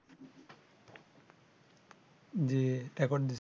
জি